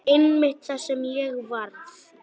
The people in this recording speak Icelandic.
Einmitt það sem ég varð.